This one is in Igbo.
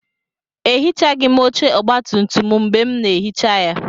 Ehichaghị m oche ọgbatumtum m mgbe m na-ehicha ya.